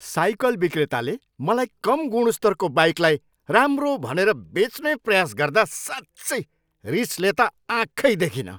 Cycle विक्रेताले मलाई कम गुणस्तरको बाइकलाई राम्रो भनेर बेच्ने प्रयास गर्दा साँच्चै रिसले त आँखै देखिनँ।